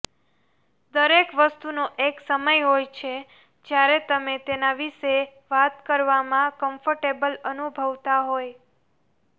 દરેક વસ્તુનો એક સમય હોય છે જ્યારે તમે તેના વિશે વાત કરવામાં કમ્ફર્ટેબલ અનુભવતા હોય